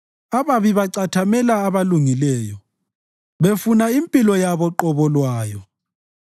Ababi bacathamela abalungileyo befuna impilo yabo qobo lwayo;